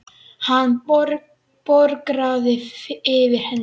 Hann bograði yfir henni.